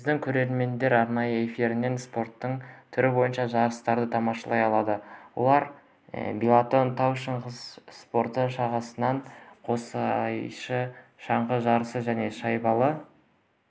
біздің көрермендер арна эфирінен спорттың түрі бойынша жарыстарды тамашалай алады олар биатлон тау шаңғы спорты шаңғы қоссайысы шаңғы жарысы және шайбалы